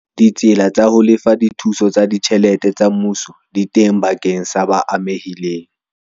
Ditsela tsa ho lefa dithuso tsa ditjhelete tsa mmuso di teng bakeng sa ba amehileng.